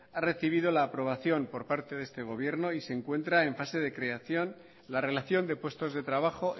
ha recibido la aprobación por parte de este gobierno y se encuentra en fase de creación de la relación de puestos de trabajo